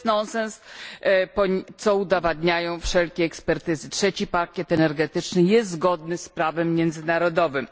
To jest nonsens, co udowadniają wszelkie ekspertyzy III pakiet energetyczny jest zgodny z prawem międzynarodowym.